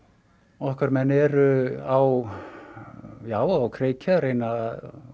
okkar menn eru á á kreiki að reyna að